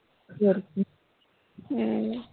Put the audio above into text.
ਹੋਰ ਕੀ ਹੂ